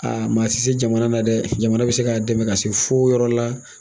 Aa ma se jamana na dɛ jamana bɛ se k'a dɛmɛ ka se fo yɔrɔ la